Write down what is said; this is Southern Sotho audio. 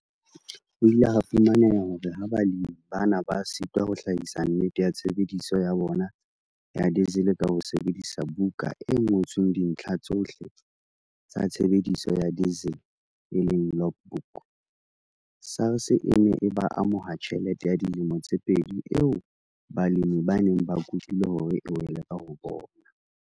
Ho ile ha fumaneha hore ha balemi bana ba sitwa ho hlahisa nnete ya tshebediso ya bona ya diesel ka ho sebedisa buka e ngotsweng dintlha tsohle tsa tshebediso ya diesel, e leng logbook, SARS e ne e ba amoha tjhelete ya dilemo tse pedi eo balemi ba neng ba kopile hore e wele ka ho bona.